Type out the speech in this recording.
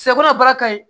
Sɛ kɔnɔ baara ka ɲi